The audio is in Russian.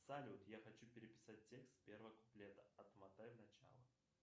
салют я хочу переписать текст первого куплета отмотай в начало